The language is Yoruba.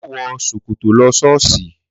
Mà wọ ṣokọ tọ lọ ṣọọsi!